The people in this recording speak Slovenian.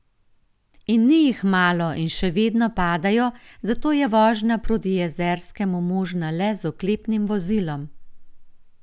In ni jih malo in še vedno padajo, zato je vožnja proti Jezerskemu možna le z oklepnim vozilom.